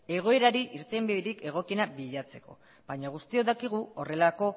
egoerari irtenbiderik egokiena bilatzeko baina guztiok dakigu horrelako